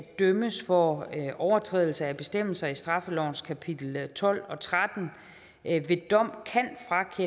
dømmes for overtrædelse af bestemmelserne i straffelovens kapitel tolv og tretten ved dom